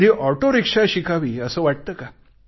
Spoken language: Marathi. कधी ऑटो रिक्षा शिकावी असे वाटते का